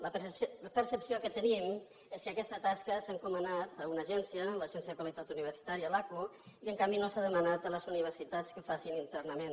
la percepció que tenim és que aquesta tasca s’ha encomanat a una agència a l’agència de qualitat universitària l’aqu i en canvi no s’ha demanat a les universitats que ho facin internament